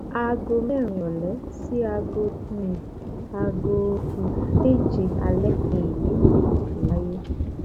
aago mẹrin ìrọlẹ sí aago um aago um méje alẹ ni èyí um yóò fi wáyé